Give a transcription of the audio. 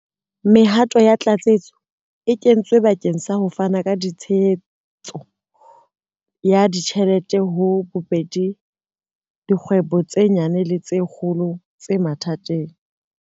Mehato ya tlatsetso e kentswe bakeng sa ho fana ka tshehetso ya ditjhelete ho ka bobedi dikgwebo tse nyane le tse kgolo tse mathateng.